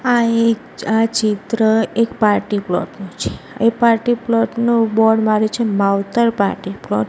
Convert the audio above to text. આ એક આ ચિત્ર એક પાર્ટી પ્લોટ નું છે એ પાર્ટી પ્લોટ નું બોર્ડ માર્યું છે માવતર પાર્ટી પ્લોટ .